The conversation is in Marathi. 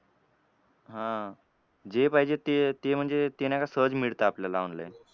हां. जे पाहिजे ते ते म्हणजे ते नाही का सहज मिळतं आपल्याला online.